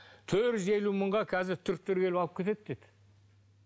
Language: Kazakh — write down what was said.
төрт жүз елу мыңға қазір түріктер келіп алып кетеді деді